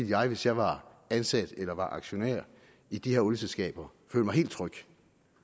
jeg hvis jeg var ansat eller aktionær i de her olieselskaber føle mig helt tryg